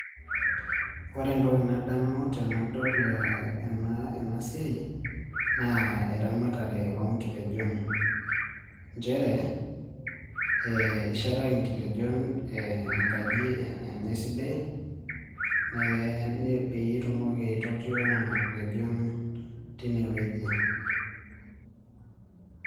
Ore entoki nadamu tenadol enasiai, naa eramatare onkitejon. Njere, ishetaki inkitejon enkaji enye sidai, peyie itumoki aitotio nena kitejon tinewueji.